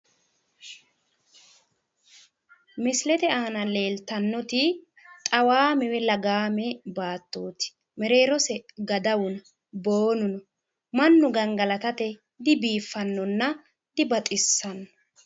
Misilete aana leeltannoti xawaame woyi lagaame baattooti mereerose gadawu no boonu no mannu gangalatate dibiiffannonna dibaxissanno.